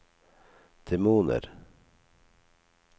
demoner